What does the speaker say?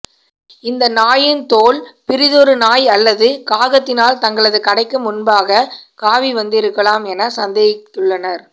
இந்த நாயின் தோல் பிரிதொரு நாய் அல்லது காகத்தினால் தங்களது கடைக்கு முன்பாக காவிவந்திருக்கலாம் என சந்தேகித்துள்ளனர்